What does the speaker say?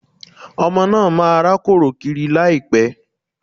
Ọmọ náà máa rákòrò kiri láìpẹ̀